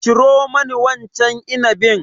Ciro mani wancan inabin.